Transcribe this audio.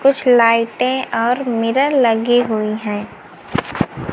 कुछ लाइटें और मिरर लगी हुई हैं।